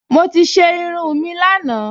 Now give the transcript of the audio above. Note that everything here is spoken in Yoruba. Mo ti ṣe irun mi lánàá